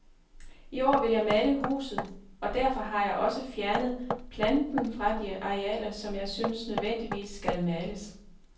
I år vil jeg male huset, og derfor har jeg også fjernet planten fra de arealer, som jeg synes nødvendigvis skal males.